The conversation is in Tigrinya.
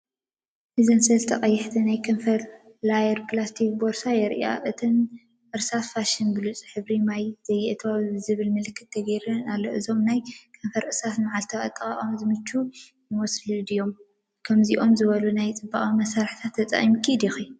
እዚ ሰለስተ ቀያሕቲ ናይ ከንፈር ላየር ፕላስቲክ ቦርሳ የርኢ። እተን እርሳስ “ፋሽን ብሉፅ ሕብሪ ማይ ዘይኣትዎ” ዝብል ምልክት ተገይሩለን ኣሎ። እዞም ናይ ከንፈር እርሳስ ንመዓልታዊ ኣጠቓቕማ ዝምችኡ ይመስሉ ድዮም? ከምዚኦም ዝበሉ ናይ ጽባቐ መሳርሒታት ትጠቂምካ ዲኪ?